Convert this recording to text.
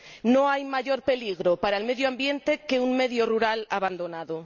no hay mayor peligro para el medio ambiente que un medio rural abandonado.